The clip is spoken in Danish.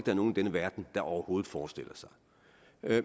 er nogen i denne verden der overhovedet forestiller sig